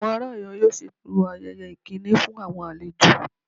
Àwọn ará Oyo yóò ṣètò ayẹyẹ ìkíni fún àwọn àlejò